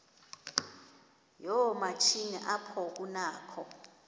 yoomatshini apho kunakho